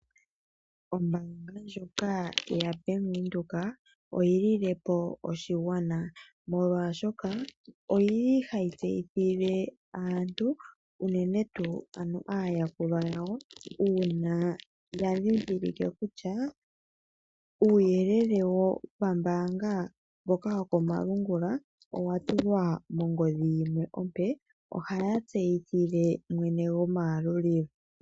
Ombaanga ndjoka yaVenduka oyililepo oshigwana molwaashoka oyili hayi tseyithile aantu unene tuu aayakulwa yawo uuna ya ndhindhilike kutya uuyelele wopambaanga mboka woko malungula owatulwa mongodhi yimwe ompe . Ohaya tseyithile mwene gwomayalulilo.